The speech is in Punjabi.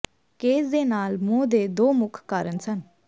ਕੇਸ ਦੇ ਨਾਲ ਮੋਹ ਦੇ ਦੋ ਮੁੱਖ ਕਾਰਨ ਸਨ